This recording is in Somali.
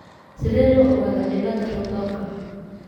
Sidee loo ogaadaa cillada Rotorka?